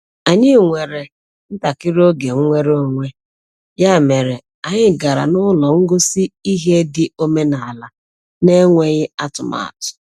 Anyị nwere ntakịrị oge nnwere onwe, ya mere anyị gara n’ụlọ ngosi ihe dị omenaala n’enweghị atụmatụ